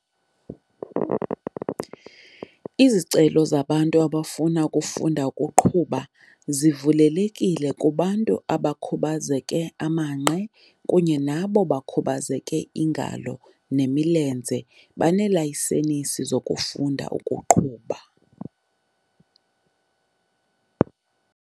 Izicelo zabantu abafuna ukufunda ukuqhuba zivulelekile kubantu abakhubazeke amanqe kunye nabo bakhubazeke iingalo nemilenze banelayisenisi yokufunda ukuqhuba.